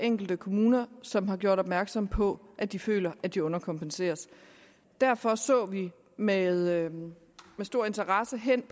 enkelte kommuner som har gjort opmærksom på at de føler at de underkompenseres derfor så vi med stor interesse hen